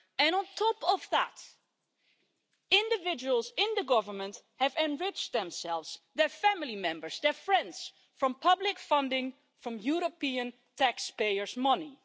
On top of that, individuals in the government have enriched themselves, their family members and their friends by means of public funding from European taxpayers' money.